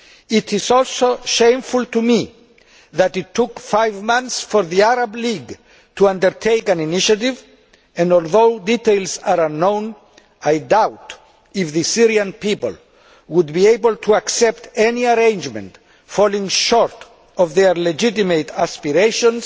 It is also shameful to me that it took five months for the Arab League to undertake an initiative, and although details are unknown, I doubt if the Syrian people would be able to accept any arrangement falling short of their legitimate aspirations,